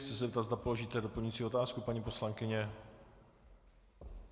Chci se zeptat, zda položíte doplňující otázku, paní poslankyně.